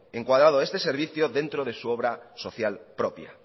encuadrado este servicio dentro de su obra social propia